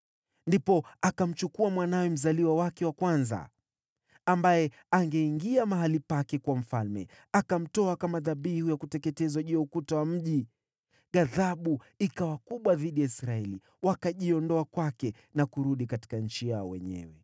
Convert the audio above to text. Ndipo akamchukua mwanawe mzaliwa wake wa kwanza, ambaye angekuwa mfalme baada yake, akamtoa kama dhabihu ya kuteketezwa juu ya ukuta wa mji. Ghadhabu ikawa kubwa dhidi ya Israeli; wakajiondoa kwake na kurudi katika nchi yao wenyewe.